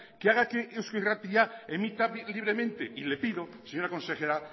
que haga que eusko irratia emita libremente y le pido señora consejera